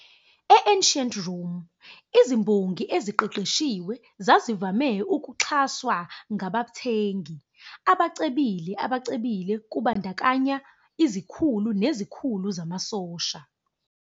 E- Ancient Rome, izimbongi eziqeqeshiwe zazivame ukuxhaswa ngabathengi, abacebile abacebile kubandakanya izikhulu nezikhulu zamasosha.